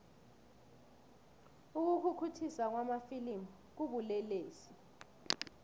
ukukhukhuthiswa kwamafilimu kubulelesi